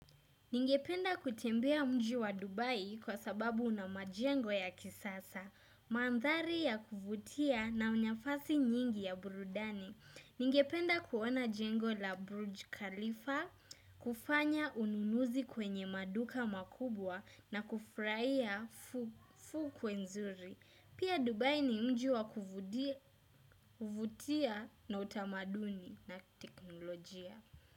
Ningependa kutembea mji wa Dubai kwa sababu una majengo ya kisasa. Mandhari ya kuvutia na unyafasi nyingi ya burudani. Ningependa kuona jengo la Burj Khalifa kufanya ununuzi kwenye maduka makubwa na kufraia fukwe nzuri. Pia Dubai ni mji wa kuvutia na utamaduni na teknolojia.